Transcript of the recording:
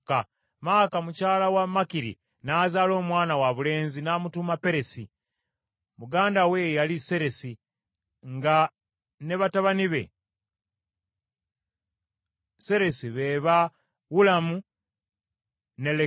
Maaka mukyala wa Makiri n’azaala omwana wabulenzi n’amutuuma Peresi. Muganda we ye yali Seresi, nga ne batabani ba Seresi be ba Ulamu ne Lekemu.